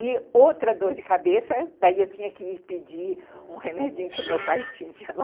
E outra dor de cabeça, daí eu tinha que ir pedir um remedinho que o meu pai tinha lá.